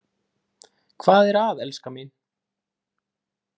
Hvað er að elskan mín?